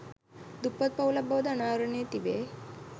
දුප්පත් පවුලක් බවද අනාවරණය වී තිබේ